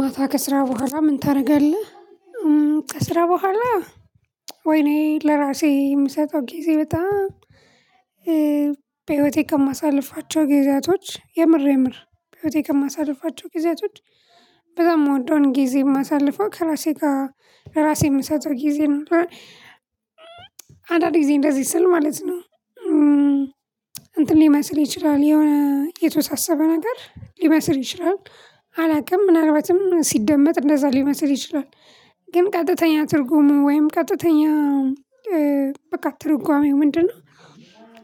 ማታ ከስራ በኋላ ምን ታደርጋለህ? ከስራ በኋላ ወይኔ ለራሴ የምሰጠው ጊዜ በጣም። በህይወቴ ከማሳልፋቸው ጊዜያቶች የምር የምር በህይወቴ የማሳልፋቸው ጊዜያቶች በጣም የምወደውን ጊዜ የማሳልፈው ከራሴ ጋር ለራሴ የምሰጠው ጊዜ። አንዳንድ ጊዜ እንደዚህ ስል ማለት ነው እንትን ሊመስል ይችላል የሆነ የተወሳሰበ ነገር ሊመስል ይችላል። አላውቅም ምናልባትም ሲደመጥ እንደዛ ሊመስል ይችላል። ግን ቀጥተኛ ትርጉሙ ወይም ቀጥተኛ በቃ ትርጓሜው ምንድነው?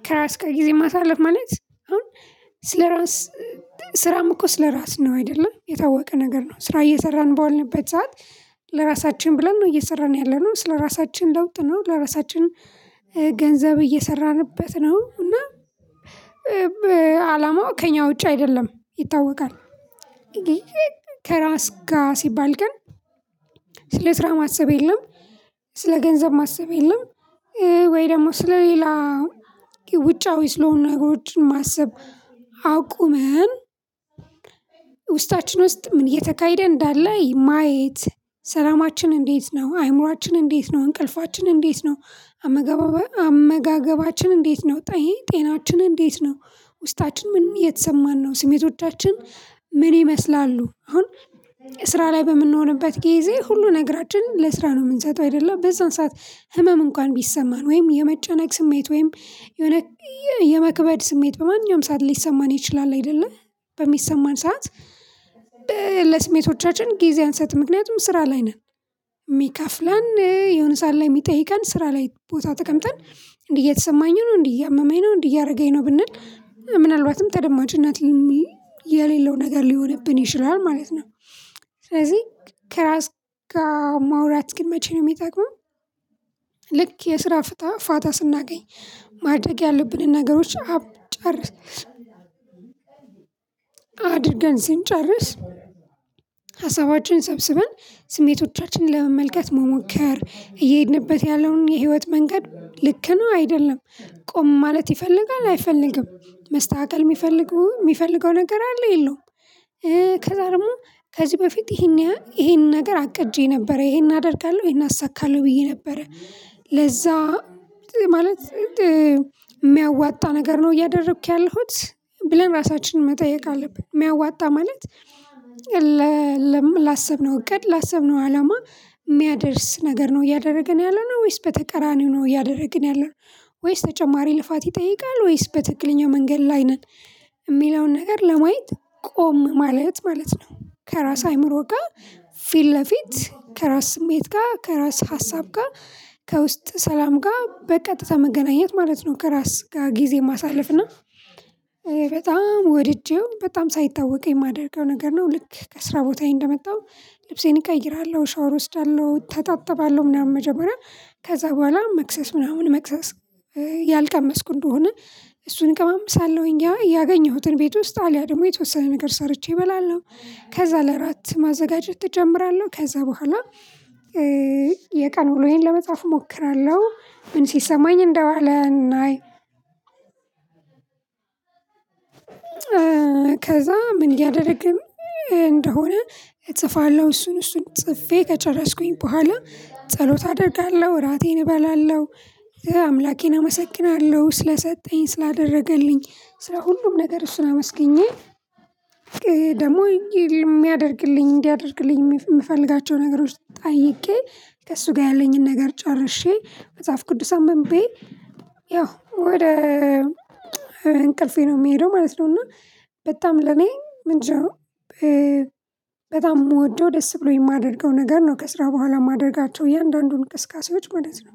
ከራስ ጋር ጊዜ ማሳለፍ ማለት አሁን ስለራስ ስራም እኮ ስለራስ ነው አይደለ የታወቀ ነገር ነው ስራ እየሰራን በዋልንበት ሰዓት። ለራሳችን ብለን ነው እየሰራን ያለነው ስለራሳችን ለውጥ ነው ለራሳችን ገንዘብ እየሰራንበት ነው እና አላማው ከእኛ ውጪ አይደለም ይታወቃል። ከራስ ጋር ሲባል ግን ስለ ስራ ማሰብ የለም። ስለ ገንዘብ ማሰብ የለም። ወይ ደግሞ ስለ ሌላ ውጫዊ ስለሆነ ነገሮችን ማሰብ። አቁመን ውስጣችን ውስጥ ምን እየተካሄደ እንዳለ ማየት ሰላማችን እንዴት ነው አይምሮአችን እንዴት ነው እንቅልፋችን እንዴት ነው። አመጋገባችን እንዴት ነው። ጤናችን እንዴት ነው። ውስጣችን ምን እየተሰማን ነው ስሜቶቻችን ምን ይመስላሉ አሁን። ስራ ላይ በምንሆንበት ጊዜ ሁሉ ነገራችንን ለስራ ነው የምንሰጠው አይደለ በዛን ሰዓት ህመም እንኳን ቢሰማን ወይም የመጨነቅ ስሜት ወይም የሆነ የመክበድ ስሜት በማንኛውም ሰዓት ሊሰማን ይችላል አይደለ በሚሰማን ሰዓት። ለስሜቶቻችን ጊዜ አንሰጥም ምክንያቱም ስራ ላይ ነን። የሚከፍለን የሆነ ሰዓት ላይ የሚጠይቀን ስራ ላይ ቦታ ተቀምጠን እንዲህ እየተሰማኝ ነው እንዲህ እያመመኝ ነው እንዴ እያደረገኝ ነው ብንል ምናልባትም ተደማጭ እነት የሌለው ነገር ሊሆንብን ይችላል ማለት ነው። ስለዚህ ከራስ ጋር ማውራት ግን መቼ ነው የሚጠቅመው? ልክ የስራ ፍታ ፋታ ስናገኝ ማደግ ያለብንን ነገሮች አብ ጨርስ። አድርገን ስንጨርስ ሀሳባችን ሰብስበን ስሜቶቻችንን ለመመልከት መሞከር እየሄድንበት ያለውን የህይወት መንገድ ልክ ነው አይደለም። ቆም ማለት ይፈልጋል አይፈልግም መስተካከል የሚፈልገው የሚፈልገው ነገር አለ የለውም። ከዛ ደግሞ ከዚህ በፊት ይሄን ይሄንን ነገር አቅጄ ነበር ይሄን አደርጋለሁ ይሄን አሳካለሁ ብዬ ነበር። ማለት የሚያዋጣ ነገር ነው እያደረኩኝ ያለሁት። ብለን እራሳችንን መጠየቅ አለብን። የሚያዋጣ ማለት። ላሰብነው እቅድ ላሰብነው አላማ የሚያደርስ ነገር ነው እያደረግን ያለነው ወይስ በተቀራኒው ነው እያደረግን ያለነው። ወይስ ተጨማሪ ልፋት ይጠይቃል ወይስ በትክክለኛ መንገድ ላይ ነን። የሚለውን ነገር ለማየት። ቆም ማለት ማለት ነው ከራስ አይምሮ ጋር ፊት ለፊት ከራስ ስሜት ጋር ከራስ ሀሳብ ጋር ከውስጥ ሰላም ጋር በቀጥታ መገናኘት ማለት ነው። ከራስ ጋር ጊዜ ማሳለፍ እና በጣም ወድጄው በጣም ሳይታወቅ የማደርገው ነገር ነው። ልክ ከስራ ቦታዬ እንደመጣሁ ልብሴን እቀይራለሁ ሻወር እወስዳለሁ እተጣጥባለሁ ምናምን መጀመሪያ ከዛ በኋላ መክሰስ ምናምን መክሰስ። ያልቀመስኩ እንደሆነ እሱን እቀማምሳለሁኝ ያ ያገኘሁትን ቤት ውስጥ አልያ ደግሞ የተወሰነ ነገር ሰርቼ እበላለሁ። ከዛ ለራት ማዘጋጀት እጀምራለሁ ከዛ በኋላ። የቀን ውሎዬን ለመጽሐፍ እሞክራለሁ ምን ሲሰማኝ እንደዋለ እናይ። ከዛ ምን እያደረግን እንደሆነ እጽፋለሁ እሱን እሱን ጽፌ ከጨረስኩኝ በኋላ ጸሎት አደርጋለሁ እራቴን እበላለሁ። አምላኬን አመሰግናለሁ ስለሰጠኝ ስላደረገልኝ ስለ ሁሉም ነገር እሱን አመስግኜ ደግሞ የሚያደርግልኝ እንዲያደርግልኝ የምፈልጋቸው ነገሮች ጠይቄ ከእሱ ጋር ያለኝን ነገር ጨርሼ መጽሐፍ ቅዱስ አንብቤ። ያው ወደ እንቅልፌ ነው የምሄደው ማለት ነው። እና በጣም ለኔ ምንጭ። በጣም የምወደው ደስ ብሎኝ የማደርገው ነገር ነው ከስራ በኋላ ማደረጋቸው የእያንዳንዱን እንቅስቃሴዎች ማለት ነው።